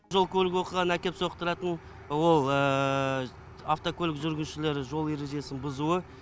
жол көлік оқиғаны әкеп соқтыратын ол автокөлік жүргізушілері жол ережесін бұзуы